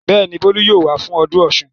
Bẹ́ẹ̀ ni, Bólú yóò wá fún ọdún Ọ̀ṣun.